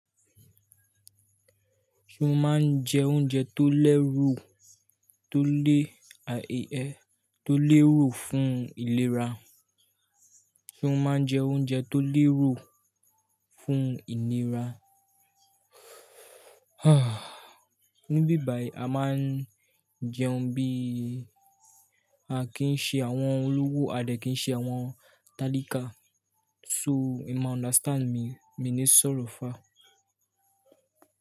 Ṣé o máa ń jẹ oúnjẹ tó lẹ́rù tó le, tó lérò fún ìlera? Ṣé o máa ń jẹ oúnjẹ tó lérò fún ìlera? Níbí báyìí a máa ń jẹun bí a kì í ṣe àwọn olówó, a dẹ̀ kì í ṣe àwọn talakà. So e ma understand mi, mi ní sọ̀rọ̀ far.